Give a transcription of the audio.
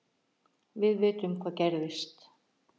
Við vitum hvað gerist